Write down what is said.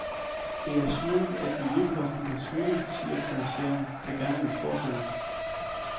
Det er smøl, at miljøposten kan smutte, siger kommissæren, som gerne vil fortsætte.